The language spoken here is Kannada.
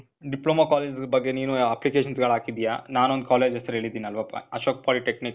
ಡಿಪ್ಲೋಮಾ ಕಾಲೇಜ್ ಬಗ್ಗೆ ನೀನು applications ಗಳ್ ಹಾಕಿದ್ದೀಯ. ನಾನ್ ಒಂದ್ ಕಾಲೇಜ್ ಹೆಸ್ರು ಹೇಳಿದ್ದೀನಲ್ವ? ಅಶೋಕ್ polytechnic.